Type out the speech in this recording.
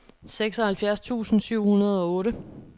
seksoghalvfjerds tusind syv hundrede og otte